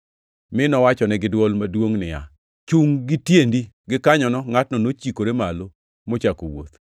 mi nowachone giduol maduongʼ niya, “Chungʼ gi tiendi!” Gikanyono ngʼatno nochikore malo mochako wuoth.